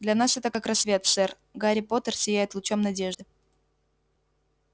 для нас это как рассвет сэр гарри поттер сияет лучом надежды